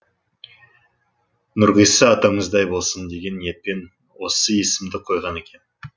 нұрғиса атамыздай болсын деген ниетпен осы есімді қойған екен